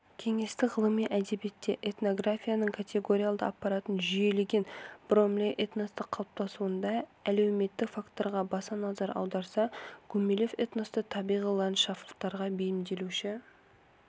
кеңестік ғылыми әдебиетте этнографияның категориялдық аппаратын жүйелеген бромлей этностың қалыптасуында әлеуметтік факторға баса назар аударса гумилев этносты табиғи ландшафтқа бейімделуші